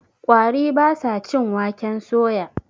ƙwari ba sa cin waken soya